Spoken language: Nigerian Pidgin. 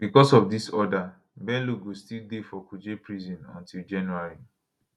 becos of dis order bello go still dey for kuje prison until january